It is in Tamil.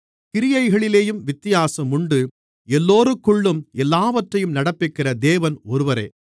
கிரியைகளிலேயும் வித்தியாசங்கள் உண்டு எல்லோருக்குள்ளும் எல்லாவற்றையும் நடப்பிக்கிற தேவன் ஒருவரே